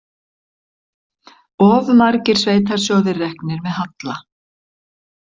Of margar sveitarsjóðir reknir með halla